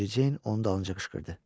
Mericeyn onun dalınca qışqırdı.